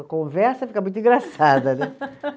A conversa fica muito engraçada, né?